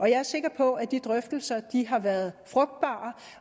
jeg er sikker på at de drøftelser har været frugtbare